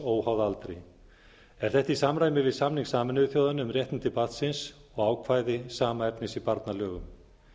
óháð aldri er þetta í samræmi við samning sameinuðu þjóðanna um réttindi barnsins og ákvæði sama efnis í barnalögum